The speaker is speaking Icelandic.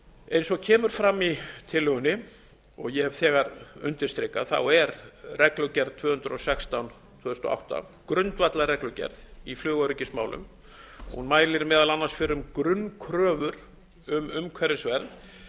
eins og kemur fram í tillögunni og ég hef þegar undirstrikað er reglugerð tvö hundruð og sextán tvö þúsund og átta grundvallarreglugerð í flugöryggismálum hún mælir meðal annars fyrir um grunnkröfur um umhverfisvernd